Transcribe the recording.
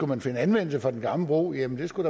kan finde anvendelse for den gamle bro jamen så skulle